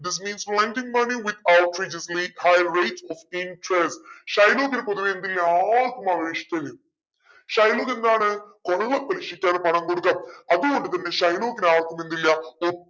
this means lending money with high rate of interest ഷൈലോക്കിനെ പൊതുവെ എന്തില്ല ആർക്കും അവനെ ഇഷ്ടല്ല ഷൈലോക്ക് എന്താണ് കൊള്ളപലിശക്കാണ് പണം കൊടുക്ക അതുകൊണ്ട് തന്നെ ഷൈലോക്കിനെ ആർക്കും എന്തില്ല ഒട്ടും